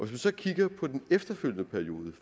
vi så kigger på den efterfølgende periode